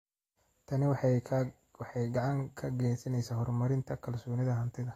Tani waxay gacan ka geysaneysaa horumarinta kalsoonida hantida.